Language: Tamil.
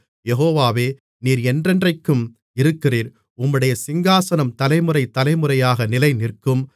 யெகோவாவே நீர் என்றென்றைக்கும் இருக்கிறீர் உம்முடைய சிங்காசனம் தலைமுறை தலைமுறையாக நிலைநிற்கும்